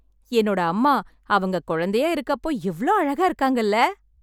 என்னோட அம்மா அவுங்க குழந்தையா இருக்க அப்போ எவ்ளோ அழகா இருக்காங்கல்ல